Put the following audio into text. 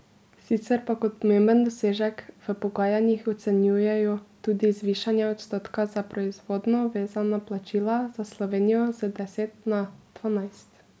Sicer pa kot pomemben dosežek v pogajanjih ocenjujejo tudi zvišanje odstotka za proizvodno vezana plačila za Slovenijo z deset na dvanajst.